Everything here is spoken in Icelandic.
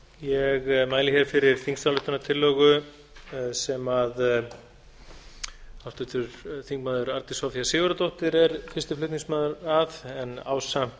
ég mæli hér fyrir þingsályktunartillögu sem háttvirtur þingmaður arndís soffía sigurðardóttir er fyrsti flutningsmaður að ásamt